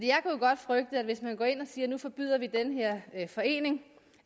godt frygte at hvis man går ind og siger vil forbyde den her forening